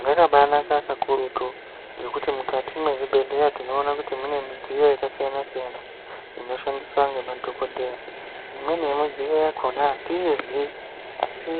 Zvakabaanaka kukurutu ngekuti mukati mwezvibhedhleya tinoona kuti mune midziyo yakasiyana siyana inoshandiswa ngemadhokodheya. Imweni yemidziyo yakhona atiizii asi